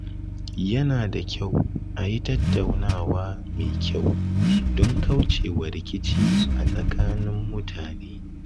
Yana da kyau a yi tattaunawa mai kyau don kaucewa rikici a tsakanin mutane.